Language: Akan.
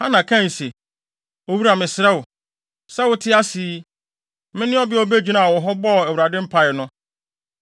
Hana kae se, “Owura mesrɛ wo. Sɛ wote ase yi, mene ɔbea a obegyinaa wo ho bɔɔ Awurade mpae no.